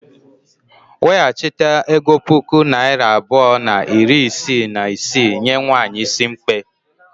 Weghachite ego puku naira abụọ na iri isii na isii nye nwanyị is mkpe.